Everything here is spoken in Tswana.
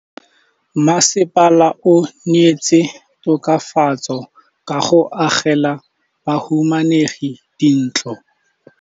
Mmasepala o neetse tokafatsô ka go agela bahumanegi dintlo.